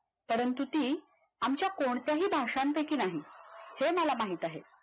परंतु ती आमच्या कोणत्याही भाषांपैकी नाही हे मला माहित आहे